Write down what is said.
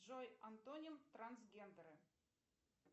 джой антоним трансгендера